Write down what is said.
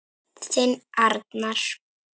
Þinn Arnar.